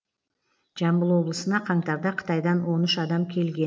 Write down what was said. жамбыл облысына қаңтарда қытайдан он үш адам келген